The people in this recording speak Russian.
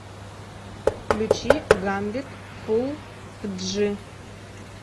включи гамбит фул в джи